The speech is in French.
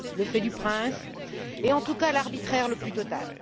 Le fait du prince et, en tout cas, l'arbitraire le plus total.